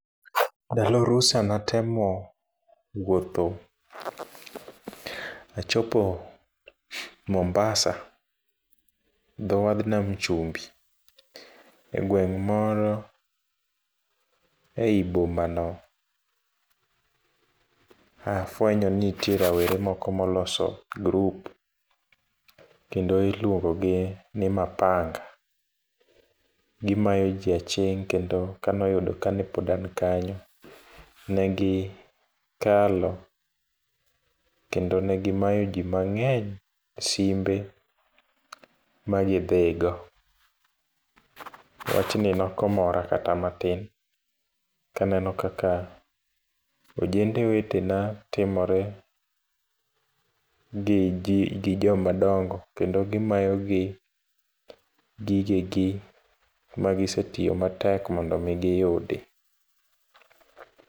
Ndalo rusa ne atemo wuotho, achopo Mombasa, dho wadh nam chumbi. E gweng' moro, ei bomano ae afwenyo ni nitiere rowere moko ma loso group, kendo iluongo gi ni Mapanga. Gimayo ji aching' kendo ka ne oyudo ka pod an kanyo, negi kalo, kendo negi mayo ji mangény simbe ma gidhigo. Wachni nokomora kata matin, kaneno kaka ojende wetena timore gi ji, gi jomadongo, kendo gimayogi gigegi magisetiyo matek mondo omi giyudi.